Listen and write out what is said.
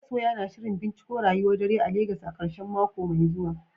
Masoya na shirin binciko rayuwar dare a Legas a karshen mako mai zuwa.